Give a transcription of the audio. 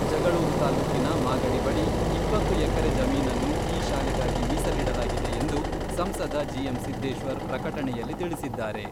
ಜಗಳೂರು ತಾಲ್ಲೂಕಿನ ಮಾಗಡಿ ಬಳಿ ಇಪ್ಪತ್ತು ಎಕರೆ ಜಮೀನನ್ನು ಈ ಶಾಲೆಗಾಗಿ ಮೀಸಲಿಡಲಾಗಿದೆ ಎಂದು ಸಂಸದ ಜಿಎಂ ಸಿದ್ದೇಶ್ವರ್ ಪ್ರಕಟಣೆಯಲ್ಲಿ ತಿಳಿಸಿದ್ದಾರೆ.